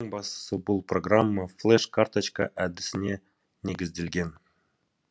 ең бастысы бұл программа флеш карточка әдісіне негізделген